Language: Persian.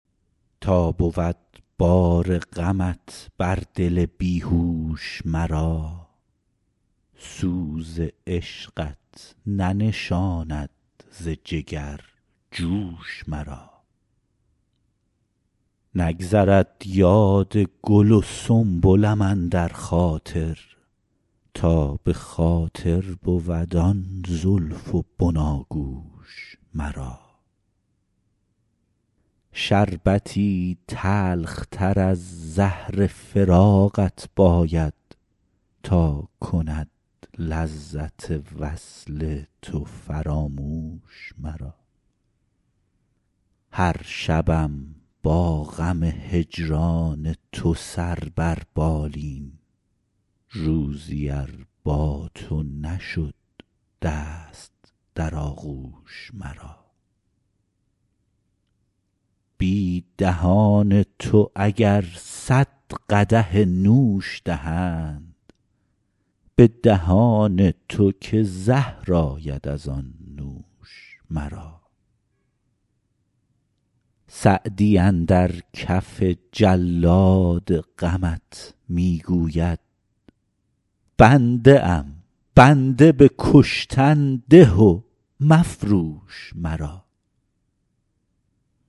تا بود بار غمت بر دل بی هوش مرا سوز عشقت ننشاند ز جگر جوش مرا نگذرد یاد گل و سنبلم اندر خاطر تا به خاطر بود آن زلف و بناگوش مرا شربتی تلختر از زهر فراقت باید تا کند لذت وصل تو فراموش مرا هر شبم با غم هجران تو سر بر بالین روزی ار با تو نشد دست در آغوش مرا بی دهان تو اگر صد قدح نوش دهند به دهان تو که زهر آید از آن نوش مرا سعدی اندر کف جلاد غمت می گوید بنده ام بنده به کشتن ده و مفروش مرا